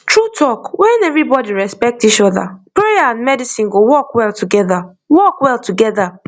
true talk when everybody respect each other prayer and medicine go work well together work well together